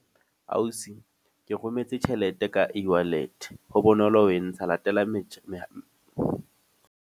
Ausi ke rometse tjhelete ka e-wallet. Ho bonolo ho entsha. Latela metjha .